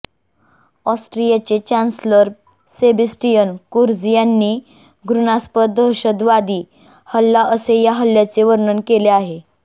ऑस्ट्रियाचे chancellor Sebastian Kurz यांनी घृणास्पद दहशतवादी हल्ला असे या हल्ल्याचे वर्णन केले आहे